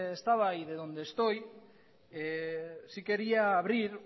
estaba ni de donde estoy sí quería abrir